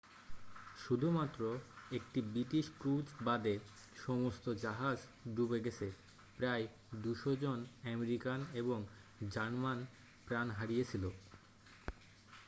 শুধুমাত্র একটি British cruise বাদে সমস্ত জাহাজ ডুবে গেছে প্রায় 200 জন আমেরিকান এবং জার্মান প্রাণ হারিয়েছিল